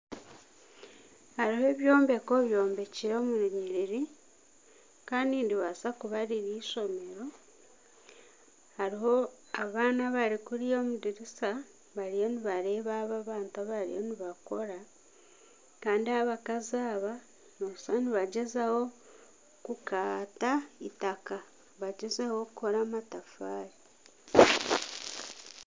Hariho ebyombeko byomekire omu runyiriri kandi niribaasa kuba riri eishomero. Hariho abaana abari kuriya omu dirisa bariyo nibareeba aba abantu abariyo nibakora. Kandi abakazi aba nooshusha nibagyezaho kukaata eitaka bagyezeho kukora amatafaari.